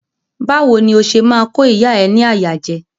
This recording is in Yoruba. Bawo ni o ṣe ma ko ìyá ẹ ni àyà jẹ?